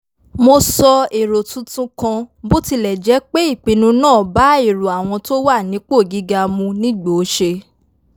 mo sọ èrò tuntun kan bó tilẹ̀ jẹ́ pé ìpinnu náà bá èrò àwọn tó wà nípò gíga mu nígbòóṣe